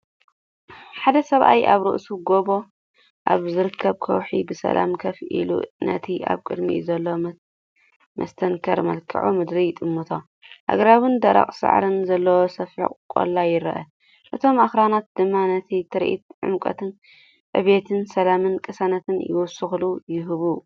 ሓደ ሰብኣይ ኣብ ርእሲ ጎቦ ኣብ ዝርከብ ከውሒ ብሰላም ኮፍ ኢሉ ነቲ ኣብ ቅድሚኡ ዘሎ መስተንክር መልክዓ ምድሪ ይጥምቶ። ኣግራብን ደረቕ ሳዕርን ዘለዎ ሰፊሕ ቆላ ይረአ ፣እቶም ኣኽራናት ድማ ነቲ ትርኢት ዕምቆትን ዕቤትን፣ ሰላምን ቅሳነትን ይውስኸሉ ይህቡ።